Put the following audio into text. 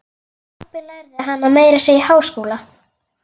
Pabbi lærði hana meira að segja í háskóla.